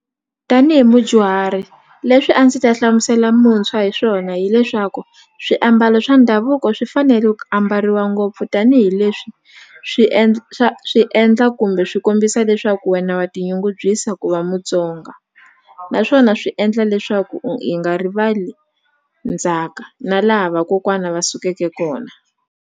Tanihi mudyuhari leswi a ndzi ta hlamusela muntshwa hi swona hileswaku swiambalo swa ndhavuko swi fanele ku ambariwa ngopfu tanihileswi swi swi endla kumbe swi kombisa leswaku wena wa tinyungubyisa ku va Mutsonga naswona swi endla leswaku hi nga rivali ndzhaka na laha vakokwana va sukeke kona.